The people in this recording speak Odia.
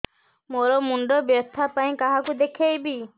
ମୋର ମୁଣ୍ଡ ବ୍ୟଥା ପାଇଁ କାହାକୁ ଦେଖେଇବି